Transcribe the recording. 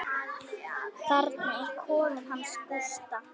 Þarna er kofinn hans Gústa.